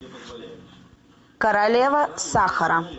королева сахара